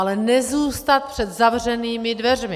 Ale nezůstat před zavřenými dveřmi.